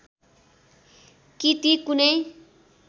कि ती कुनै